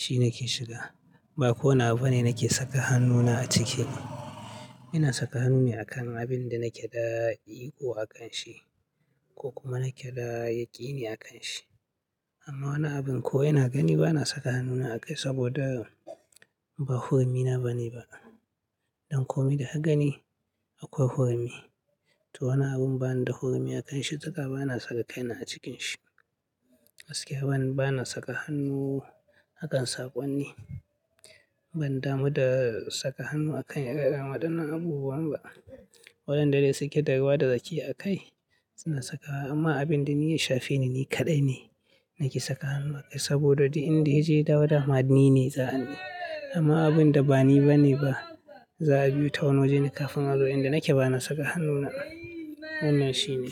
shi nake shiga. Ba ko wani bane nake saka hannuna a ciki. Ina saka hannu ne a kan abin da nake da ko a kan shi ko kuma nake da yaƙini a kan shi. Amma wani abin ko ina gani ba na saka hannuna a kai saboda ba hurmi na ba ne ba. Don ko me da aka gani akwai hurumi To wani abin bani da hurmi a kan shi haka ba na saka kaina a cikin shi. Aske bana, bana saka hannu a kan saƙon ne. Ban damu da saka hannu a kan ƙaanna irin waɗannan abubuwan ba. Waɗanda dai suke da ruwa da tsaki a kai suna sakawa. Amma abin da ni ya shafe ni, ni kaɗai ne nake saka hannu a kai saboda di inda ya je, da wa da hamad ni ne za'a hannu. Amma abin da ba ni ba ne ba, za a biyu ta wano wajen kafin haro inda nake ba na saka hannuna. Wannan shi ne.